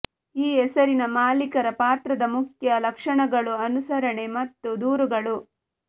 ಈ ಹೆಸರಿನ ಮಾಲೀಕರ ಪಾತ್ರದ ಮುಖ್ಯ ಲಕ್ಷಣಗಳು ಅನುಸರಣೆ ಮತ್ತು ದೂರುಗಳು